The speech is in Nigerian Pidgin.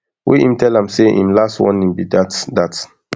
wey im tell am say im last warning be dat dat